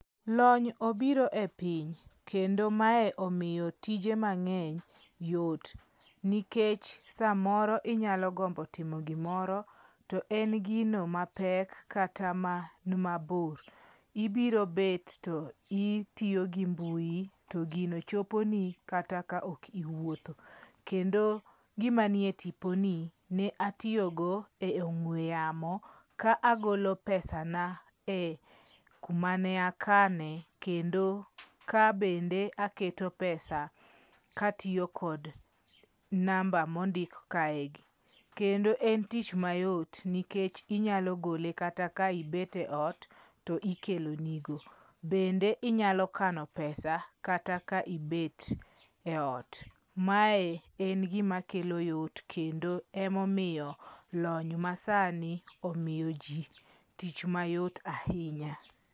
Lony obiro e piny kendo mae omiyo tije mang'eny yot nikech samoro inyalo gombo timo gimoro, to en gino ma pek kata man mabor. Ibiro bet to itiyo gi mbui, to gino choponi kata ka ok iwuotho. Kendo gimanie tiponi ne atiyogo e ong'ue yamo ka agolo pesana e kuma ne akane, kendo kabende aketo pesa katiyo kod namba mondik kaegi. Kendo en tich mayot, nikech inyalo gole kata ka ibet eot to ikelo nigo. Bende inyalo kano pesa kata ka ibet eot. Mae en gimakelo yot kendo emomiyo lony masani omiyoji tich mayot ahinya.